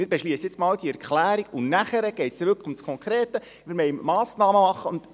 Wir beschliessen erst einmal diese Erklärung, und danach wird es konkret: Wir wollen Massnahmen treffen.